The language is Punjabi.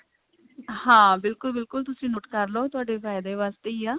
ਹਾਂ ਬਿਲਕੁਲ ਬਿਲਕੁਲ ਤੁਸੀਂ note ਕਰਲੋ ਤੁਹਾਡੇ ਫਾਇਦੇ ਵਾਸਤੇ ਹੀ ਆ